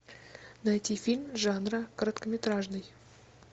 найти фильм жанра короткометражный